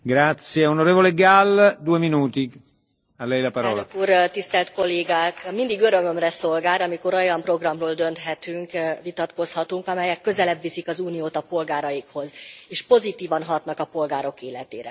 Elnök Úr, tisztelt Kollégák! Mindig örömömre szolgál, amikor olyan programról dönthetünk, vitatkozhatunk, amelyek közelebb viszik az Uniót a polgáraikhoz, és pozitívan hatnak a polgárok életére.